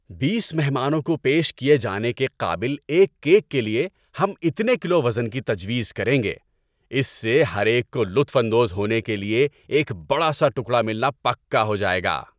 بیس مہمانوں کو پیش کیے جانے کے قابل ایک کیک کے لیے ہم اتنے کلو وزن کی تجویز کریں گے۔ اس سے ہر ایک کو لطف اندوز ہونے کے لیے ایک بڑا سا ٹکڑا ملنا پکا ہو جائے گا۔